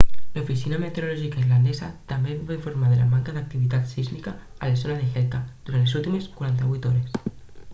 l'oficina meteorològica islandesa també va informar de la manca d'activitat sísmica a la zona d'hekla durant les últimes 48 hores